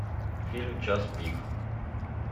фильм час пик